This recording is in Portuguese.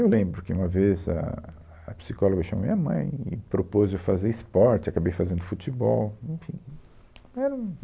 Eu lembro que uma vez a, a psicóloga chamou minha mãe e propôs eu fazer esporte, acabei fazendo futebol. Enfim, era um